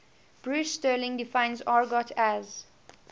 bruce sterling defines argot as